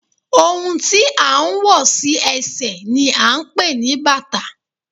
Ohun tí à ń wọ̀ sí ẹsẹ̀ ni à ń pè ní bàtà